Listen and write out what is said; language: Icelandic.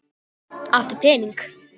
Áttu pening?